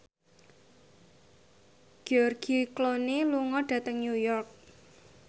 George Clooney lunga dhateng New York